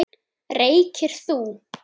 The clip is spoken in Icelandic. Reykir þú?